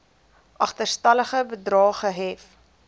agterstallige bedrae gehef